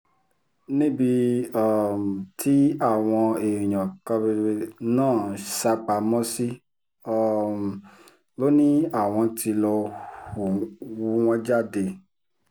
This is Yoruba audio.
níbi um tí àwọn èèyàn náà sá pamọ́ sí um ló ní àwọn tí lọ́ọ́ hú wọn jáde